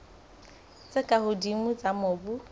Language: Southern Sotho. tse ka hodimo tsa mobu